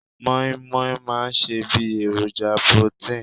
Moin moin máa ń ṣe bí èròjà protein